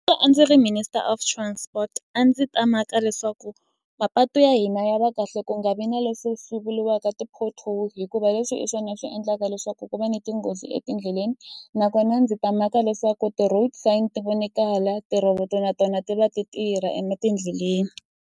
A ndzi ri minister of transport a ndzi ta maka leswaku mapatu ya hina ya va kahle ku nga vi na leswo swi vuriwaka ti-potholes hikuva leswi i swona swi endlaka leswaku ku va ni tinghozi etindleleni nakona ndzi ta maka leswaku ti-road sign ti vonikala tirhoboto na tona ti va ti tirha etindleleni.